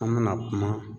An bɛna kuma